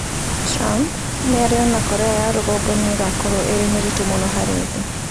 Trump: Mĩario na Korea ya Rũgongo nĩ ĩgakorwo ĩrĩ mĩritũ mũno harĩ thĩ